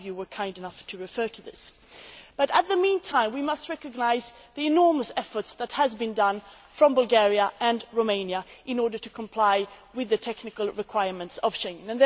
Some of you were kind enough to refer to this. But, in the meantime, we must recognise the enormous efforts that have been made by Bulgaria and Romania in order to comply with the technical requirements of Schengen.